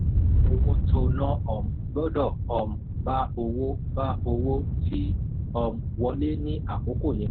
owó tó ná um gbọ́dọ̀ um bál owó bál owó tí um wọlé ní àkókò yẹn.